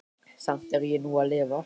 Samt er ég nú að lifa.